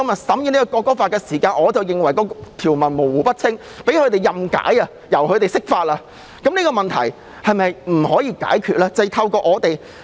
同樣道理，今天審議的《條例草案》條文模糊不清，可以被任意解釋，這個問題是否不可以解決呢？